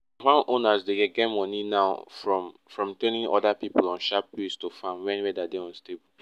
owners dey get money now from from training oda pipo on sharp ways to farm wen weather dey unstable